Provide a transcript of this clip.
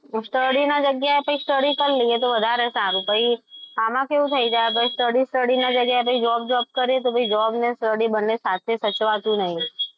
study ની જગ્યાએ study કરી લઈએ તો વધારે સારું પછી આમાં કેવું થઈ જાય study study ની જગ્યાએ પછી job કરીએ તો job અને study બંને સાથે સચવાતું નથી.